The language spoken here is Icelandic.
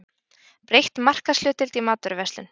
Breytt markaðshlutdeild í matvöruverslun